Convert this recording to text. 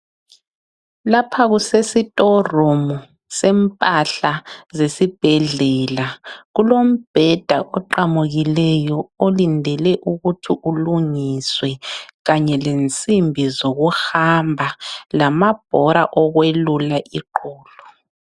Lapha kusesi torumu sempahla zesibhedlela, kulombheda oqamukileyo olindele ukuthi ulungiswe kanye lensimbi zokuhamba lamabhora okwelula iqolo.